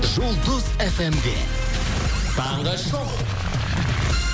жұлдыз эф эм де таңғы шоу